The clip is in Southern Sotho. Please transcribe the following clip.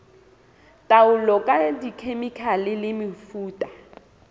taolo ka dikhemikhale le mefuta